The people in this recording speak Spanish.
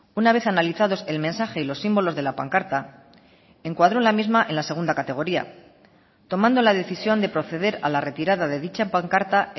una vez analizados el mensaje y los símbolos de la pancarta encuadró la misma en la segunda categoría tomando la decisión de proceder a la retirada de dicha pancarta